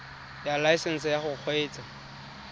ya laesesnse ya go kgweetsa